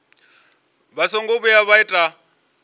vha songo vhuya vha ita